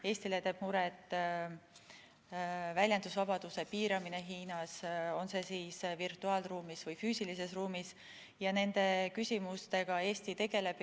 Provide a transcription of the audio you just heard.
Eestile teeb muret väljendusvabaduse piiramine Hiinas, on see virtuaalruumis või füüsilises ruumis, ja nende küsimustega Eesti tegeleb.